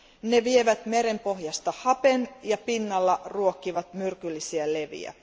Ne vievät merenpohjasta hapen ja pinnalla ruokkivat myrkyllisiä leviä.